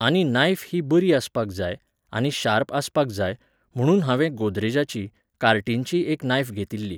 आनी नायफ ही बरी आसपाक जाय, आनी शार्प आसपाक जाय, म्हुणून हांवें गोदरेजाची, कार्टिनची एक नायफ घेतिल्ली